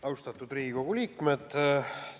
Austatud Riigikogu liikmed!